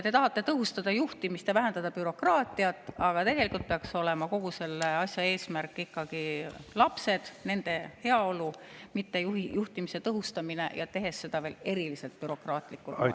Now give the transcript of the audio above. Te tahate tõhustada juhtimist ja vähendada bürokraatiat, aga tegelikult peaks olema kogu selle asja eesmärk ikkagi lapsed, nende heaolu, mitte juhtimise tõhustamine, ja seda veel eriliselt bürokraatlikul moel.